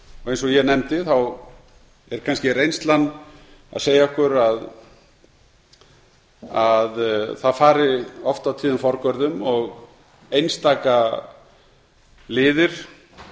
eins og ég nefndi er kannski reynslan að segja okkur að það fari oft og tíðum forgörðum og einstaka liðir